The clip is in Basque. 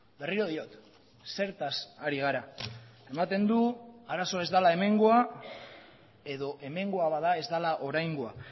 berriro diot zertaz ari gara ematen du arazoa ez dela hemengoa edo hemengoa bada ez dela oraingoa